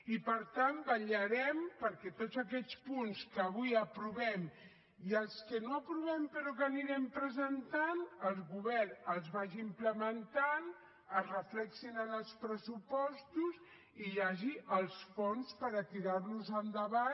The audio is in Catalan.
i per tant vetllarem perquè tots aquests punts que avui aprovem i els que no aprovem però que anirem presentant el govern els vagi implementant es reflecteixin en els pressupostos i hi hagi els fons per a tirar los endavant